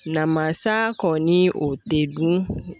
Namasa kɔni o te dun